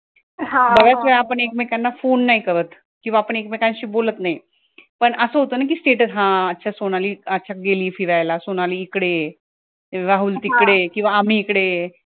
बऱ्याच वेळेला आपण एकमेकांना phone नाही करत किंवा एकमेकांशी बोलत नाही पण असं होतं ना कि status अच्छा सोनाली अच्छा गेलीये फिरायला सोनाली इकडे आहे, राहुल तिकडे आहे आम्ही इकडे आहे